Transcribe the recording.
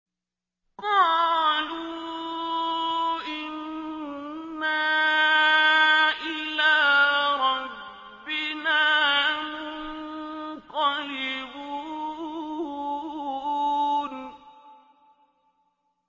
قَالُوا إِنَّا إِلَىٰ رَبِّنَا مُنقَلِبُونَ